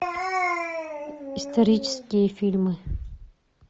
исторические фильмы